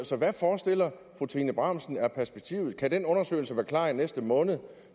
så hvad forestiller fru trine bramsen sig er perspektivet kan den undersøgelse være klar i næste måned